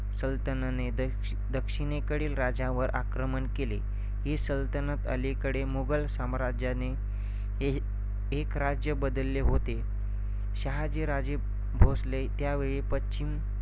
सलतनने दक्ष~ दक्षिणेकडील राज्यावर आक्रमण केले. ही सल्तनत अलीकडे मुघल साम्राज्या ने एक~ एक राज्य बदलले होते. शहाजीराजे भोसले त्यावेळीपश्चिम